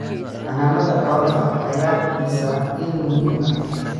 Xannaanada xoolaha ayaa bixisa il muhiim ah.